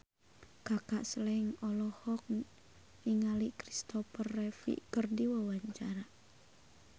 Kaka Slank olohok ningali Kristopher Reeve keur diwawancara